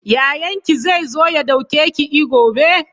Yayan ki zai zo ya ɗauke ki e gobe?